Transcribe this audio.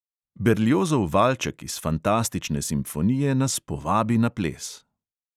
Berliozov valček iz fantastične simfonije nas povabi na ples.